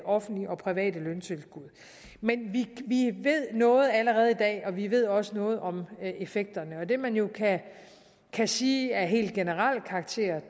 offentlige og private løntilskud men vi ved noget allerede i dag og vi ved også noget om effekterne det man jo kan sige af helt generel karakter